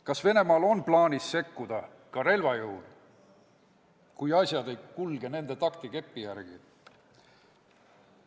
Kas Venemaal on plaanis sekkuda ka relva jõul, kui asjad ei kulge nende taktikepi järgi?